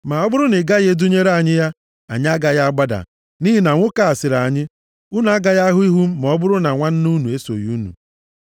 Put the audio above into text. Ma ọ bụrụ na ị gaghị edunyere anyị ya, anyị agaghị agbada, nʼihi na nwoke a sịrị anyị, ‘Unu agaghị ahụ ihu m ma ọ bụrụ na nwanna unu esoghị unu.’ ”